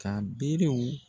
Ka berew